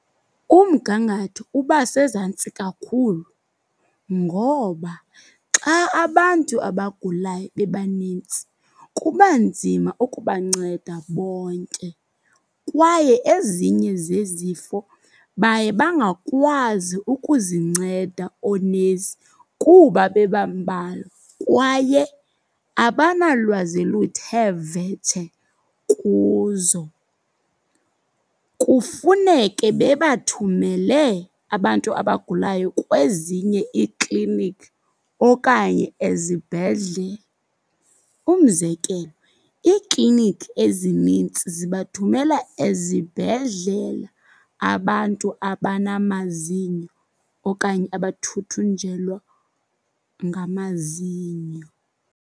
Umgangatho uba sezantsi kakhulu ngoba xa abantu abagulayo bebanintsi kuba nzima ukubanceda bonke. Kwaye ezinye zezifo baye bangakwazi ukuzinceda oonesi kuba bebambalwa kwaye abanalwazi luthe vetshe kuzo. Kufuneke bebathumele abantu abagulayo kwezinye iikliniki okanye ezibhedlele. Umzekelo, iikliniki ezinintsi zibathumela ezibhedlele abantu abanamazinyo okanye abathuthunjelwa ngamazinyo.